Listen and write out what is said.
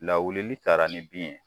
Lawuli taara ni bin ye